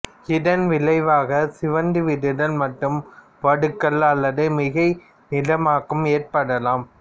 இதன் விளைவாக சிவந்துவிடுதல் மற்றும் வடுக்கள் அல்லது மிகைநிறமாக்கம் ஏற்படலாம்